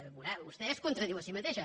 veurà vostè es contradiu a si mateixa